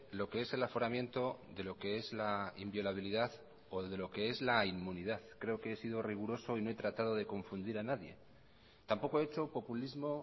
lo que es el aforamiento de lo que es la inviolabilidad o de lo que es la inmunidad creo que he sido riguroso y no he tratado de confundir a nadie tampoco he hecho populismo